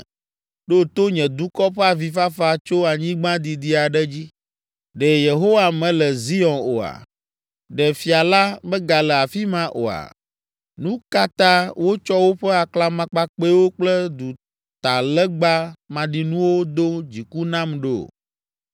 Ɖo to nye dukɔ ƒe avifafa tso anyigba didi aɖe dzi, “Ɖe Yehowa mele Zion oa? Ɖe Fia la megale afi ma oa?” “Nu ka ta wotsɔ woƒe aklamakpakpɛwo kple dutalegba maɖinuwo do dziku nam ɖo?”